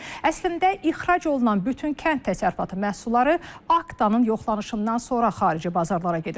Əslində ixrac olunan bütün kənd təsərrüfatı məhsulları Aktanın yoxlanışından sonra xarici bazarlara gedir.